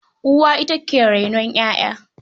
Uwa ita ke rainon ƴaƴa.